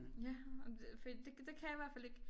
Ja og det fordi det det kan jeg i hvert fald ikke